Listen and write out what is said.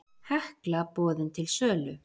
Hekla boðin til sölu